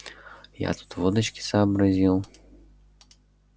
я тут водочки сообразил